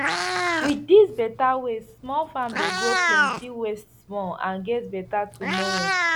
with these better ways small farm dey grow plenty waste small and get better tomorrow